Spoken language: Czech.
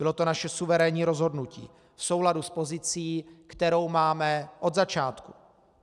Bylo to naše suverénní rozhodnutí v souladu s pozicí, kterou máme od začátku.